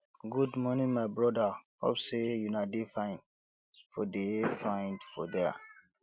good morning my broda hope sey una dey fine for dey fine for there